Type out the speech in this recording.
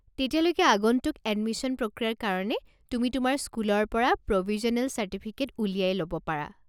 তেতিয়ালৈকে আগন্তুক এডমিশ্যন প্ৰক্ৰিয়াৰ কাৰণে তুমি তোমাৰ স্কুলৰ পৰা প্ৰ'ভিজ্যনেল চাৰ্টিফিকেট উলিয়াই ল'ব পাৰা।